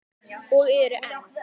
Og eru enn.